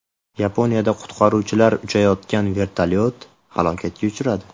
Yaponiyada qutqaruvchilar uchayotgan vertolyot halokatga uchradi.